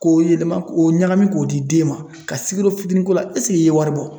K'o yɛlɛma k'o ɲagami k'o di den ma, ka sikoro fitinin k'o la i ye wari bɔ?